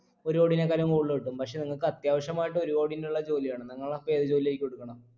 ഒരു കോടിനെക്കാളും കൂടുതൽ കിട്ടും പക്ഷെ നിങ്ങക്ക് അത്യാവശ്യമായിട്ട് ഒരു കോടിന്റുള്ള ജോലിയാണ് നിങ്ങളപ്പോ ഏത് ജോലിയായിരിക്കും എടുക്ണെ